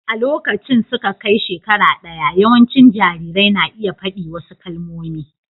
A lokacin da suka kai shekara ɗaya, yawancin jarirai na iya faɗi wasu kalmomi.